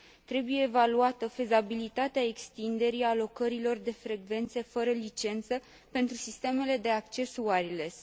Trebuie evaluată fezabilitatea extinderii alocărilor de frecvențe fără licență pentru sistemele de acces wireless.